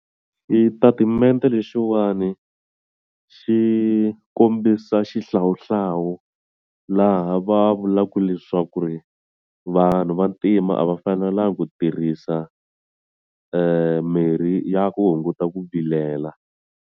Xitatimende lexiwani xi kombisa xihlawuhlawu laha va vulaku leswaku ri vanhu vantima a va fanelangi ku tirhisa mirhi ya ku hunguta ku vilela.